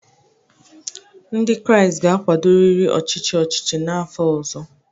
Ndị Kraịst ga-akwadorịrị ọchịchị ọchịchị n’afọ ọzọ